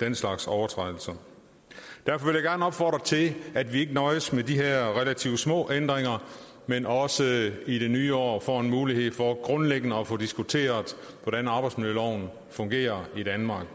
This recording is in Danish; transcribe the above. den slags overtrædelser derfor vil jeg gerne opfordre til at vi ikke nøjes med de her relativt små ændringer men også i det nye år får en mulighed for grundlæggende at få diskuteret hvordan arbejdsmiljøloven fungerer i danmark